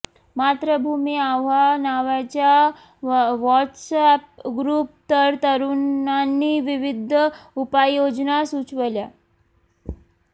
मातृभूमी आव्हा नावाच्या व्हॉट्स एप ग्रुप वर तरुणांनी विविध उपाययोजना सुचवल्या